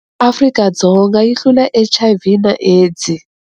Afrika-Dzonga yi hlula HIV na AIDS.